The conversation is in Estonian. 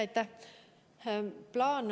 Aitäh!